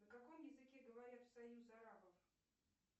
на каком языке говорят в союз арабов